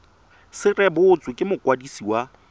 se rebotswe ke mokwadisi wa